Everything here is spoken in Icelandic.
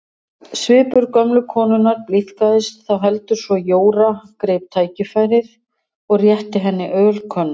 Svipur gömlu konunnar blíðkaðist þá heldur svo Jóra greip tækifærið og rétti henni ölkönnu.